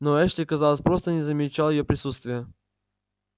но эшли казалось просто не замечал её присутствия